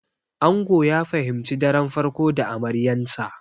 Ango ya fahimci daren farko da amaryansa.